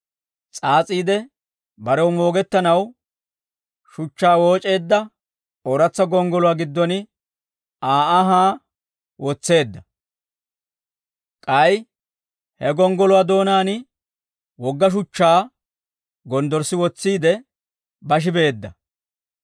s'aas'iide barew moogettanaw shuchchaa wooc'eedda ooratsa gonggoluwaa giddon Aa anhaa wotseedda; k'ay he gonggoluwaa doonaan wogga shuchchaa gonddorssi wotsiide, bashi beedda.